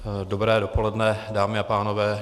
Dobré dopoledne, dámy a pánové.